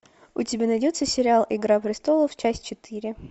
у тебя найдется сериал игра престолов часть четыре